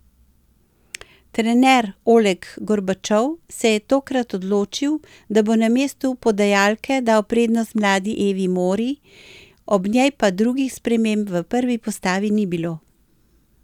Trener Oleg Gorbačov se je tokrat odločil, da bo na mestu podajalke dal prednost mladi Evi Mori, ob njej pa drugih sprememb v prvi postavi ni bilo.